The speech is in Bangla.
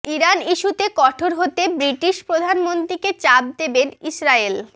ইরান ইস্যুতে কঠোর হতে ব্রিটিশ প্রধানমন্ত্রীকে চাপ দেবে ইসরায়েল